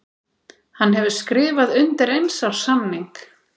Hann hefur skrifað undir eins árs samning.